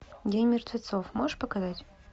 день мертвецов можешь показать